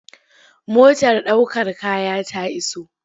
Motar ɗaukar kaya ta iso.